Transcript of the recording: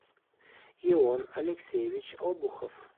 ион алексеевич обухов